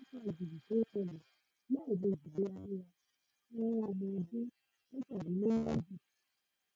kí ló ń fa gìrì tó ṣẹlẹ lẹẹmejì léraléra fún ọmọ ọdún mẹtàlélógójì